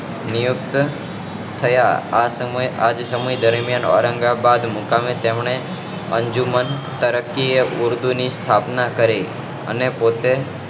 નિયુક્ત થયા આ સમયે આ સમય દરમિયાન હૈદરાબાદ મુકામે તેમને અંજુમન તરક્કી એ ઉર્દુ ની સ્થાપના કરી અને પોતે